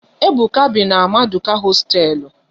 Ebuka bi na Maduka hosteelu